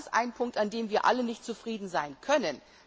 Das ist ein Punkt, mit dem wir alle nicht zufrieden sein können.